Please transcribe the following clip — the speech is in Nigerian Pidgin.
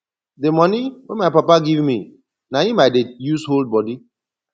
the money wey my papa give me na im i dey use hood body